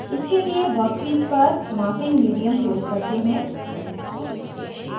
इसके लिए वर्कपीस पर मार्किंग मीडियम प्रयोग करें